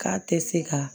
K'a tɛ se ka